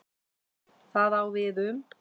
Það á við um